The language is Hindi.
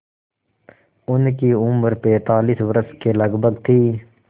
उनकी उम्र पैंतालीस वर्ष के लगभग थी